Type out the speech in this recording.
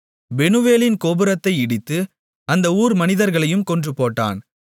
பெனூவேலின் கோபுரத்தை இடித்து அந்த ஊர் மனிதர்களையும் கொன்றுபோட்டான்